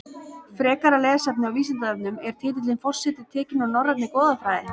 Frekara lesefni á Vísindavefnum Er titillinn forseti tekinn úr norrænni goðafræði?